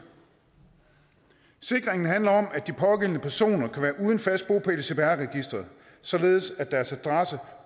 sikringen handler om at de pågældende personer kan være uden fast bopæl i cpr registeret således at deres adresse